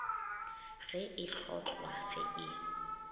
ge e hlotlwa ge e